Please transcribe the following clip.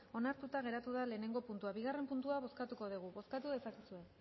onartuta geratu da lehenengo puntua bigarren puntua bozkatuko dugu bozkatu dezakezue